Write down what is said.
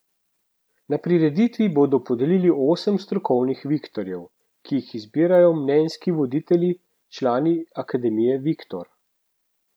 Na prireditvi bodo podelili osem strokovnih viktorjev, ki jih izbirajo mnenjski voditelji, člani Akademije Viktor.